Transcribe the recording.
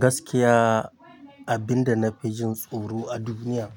Gaskiya abin da na fi jin tsoro a duniya